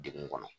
Degun kɔnɔ